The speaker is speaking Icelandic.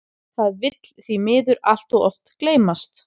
Það vill því miður allt of oft gleymast.